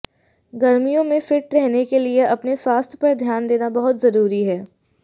गर्मियों में फिट रहने के लिए अपने स्वास्थ्य पर ध्यान देना बहुत जरूरी होता है